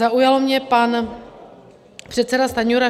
Zaujal mě pan předseda Stanjura.